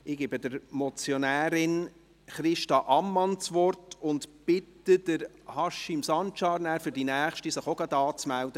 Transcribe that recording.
Ich gebe der Motionärin Christa Ammann das Wort und bitte Haşim Sancar, sich bereits für die nächste Motion anzumelden;